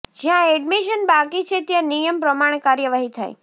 જ્યાં એડમિશન બાકી છે ત્યાં નિયમ પ્રમાણે કાર્યવાહી થાય